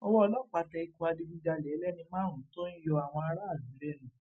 ọwọ ọlọpàá tẹ ikọ adigunjalè ẹlẹni márùnún tó ń yọ àwọn aráàlú lẹnu